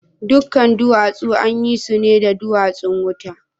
Dukan duwatsu an yi su ne da duwatsun wuta?